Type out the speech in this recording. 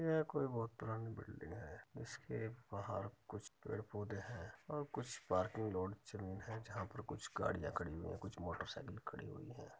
ये कोई बहोत पुरानी बिल्डिंग है | इसके बाहर कुछ पेड़ पोधे है और कुछ पार्किंग रोड जमीन है जहा पर कुछ गाड़ियां खड़ी हुईं हुईं है और कुछ मोटरसाइकिल खड़ी हुयी है |